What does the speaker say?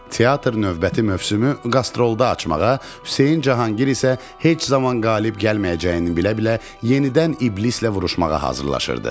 Teatr növbəti mövsümü qastrolda açmağa, Hüseyn Cahangir isə heç zaman qalib gəlməyəcəyini bilə-bilə yenidən iblislə vuruşmağa hazırlaşırdı.